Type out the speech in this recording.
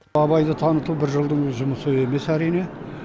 абайды таныту бір жылдың жұмысы емес әрине